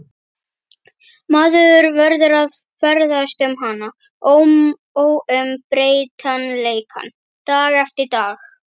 Maður verður að ferðast um hana, óumbreytanleikann, dag eftir dag.